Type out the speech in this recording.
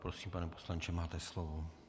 Prosím, pane poslanče, máte slovo.